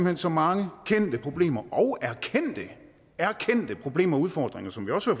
hen så mange kendte problemer og erkendte problemer og udfordringer som vi også